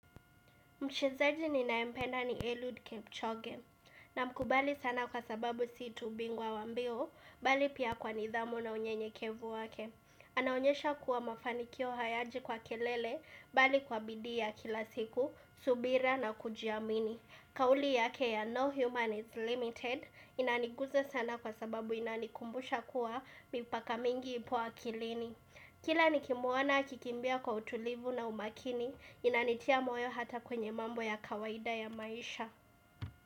Mchezaji ninayempenda ni Eliud Kepchoge na mkubali sana kwa sababu siitu bingwa wambio, bali pia kwa nidhamu na unye nyekevu wake. Anaonyesha kuwa mafanikio hayaji kwa kelele, bali kwa bidii ya kila siku, subira na kujiamini. Kauli yake ya No Human is Limited inaniguza sana kwa sababu inanikumbusha kuwa mipaka mingi ipo akilini. Kila nikimuona akikimbia kwa utulivu na umakini inanitia moyo hata kwenye mambo ya kawaida ya maisha.